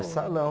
Salão.